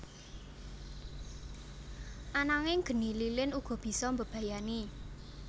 Ananging geni lilin uga bisa mbebayani